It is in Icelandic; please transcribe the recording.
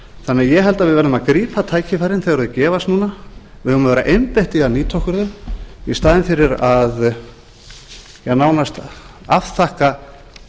þannig að ég held að við verðum að grípa tækifærin þegar þau gefast núna við eigum að vera einbeitt í að nýta okkur þau í staðinn fyrir að nánast að afþakka